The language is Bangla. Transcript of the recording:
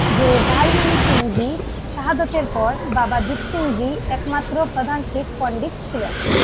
যে ভাই মনি সিং জী শাহাদাতের পর বাবা দ্বীপ সিং জী এক মাত্র প্রধান শিখ পন্ডিত ছিলেন